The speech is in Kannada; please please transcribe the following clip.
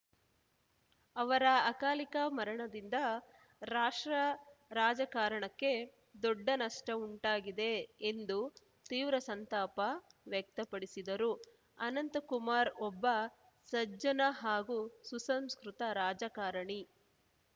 ಅವರ ಅಕಾಲಿಕ ಮರಣದಿಂದ ರಾಷ್ಟ್ರ ರಾಜಕಾರಣಕ್ಕೆ ದೊಡ್ಡ ನಷ್ಟಉಂಟಾಗಿದೆ ಎಂದು ತೀವ್ರ ಸಂತಾಪ ವ್ಯಕ್ತಪಡಿಸಿದರು ಅನಂತಕುಮಾರ್ ಒಬ್ಬ ಸಜ್ಜನ ಹಾಗೂ ಸುಸಂಸ್ಕೃತ ರಾಜಕಾರಣಿ